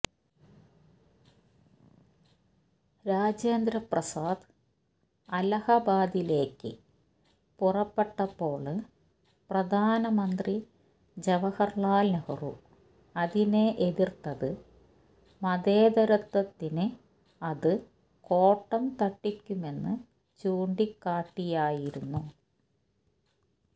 രാജേന്ദ്രപ്രസാദ് അലഹബാദിലേക്ക് പുറപ്പെട്ടപ്പോള് പ്രധാനമന്ത്രി ജവഹര്ലാല് നെഹ്റു അതിനെ എതിര്ത്തത് മതേതരത്വത്തിനു അത് കോട്ടം തട്ടിക്കുമെന്ന് ചൂണ്ടിക്കാട്ടിയായിരുന്നു